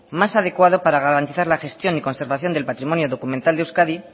más adecuado para garantizar la gestión y conservación del patrimonio documental de euskadi y